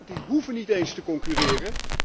Die hoeven niet eens te concurreren.